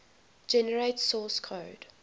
generate source code